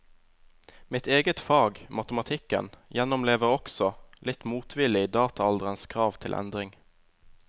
Mitt eget fag, matematikken, gjennomlever også, litt motvillig, dataalderens krav til endring.